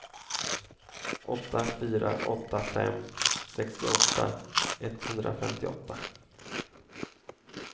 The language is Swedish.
åtta fyra åtta fem sextioåtta etthundrafemtioåtta